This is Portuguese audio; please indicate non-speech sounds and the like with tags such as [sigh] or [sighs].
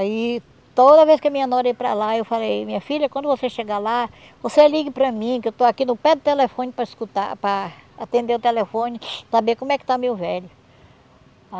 Aí toda vez que a minha nora ia para lá, eu falei, minha filha, quando você chegar lá, você ligue para mim, que eu estou aqui no pé do telefone para escutar, para atender o telefone, [sighs] para ver como é que está meu velho.